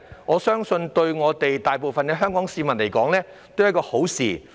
我相信這對大部分香港市民而言都是好事。